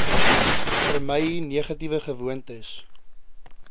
vermy negatiewe gewoontes